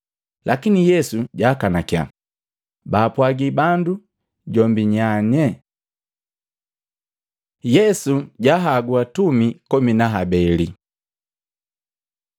Lakini Yesu jaakanakya baapwagi bandu jombi nyanye. Yesu jahagu Atumi komi na habeli Matei 10:1-4; Luka 6:12-16